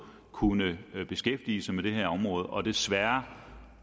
kunnet beskæftige sig med det her område og desværre